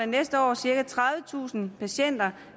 næste år cirka tredivetusind patienter